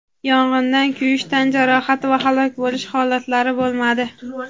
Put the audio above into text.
Yong‘indan kuyish tan jarohati va halok bo‘lish holatlari bo‘lmadi.